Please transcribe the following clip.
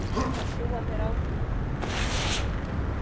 Þá trúa þeir á þig.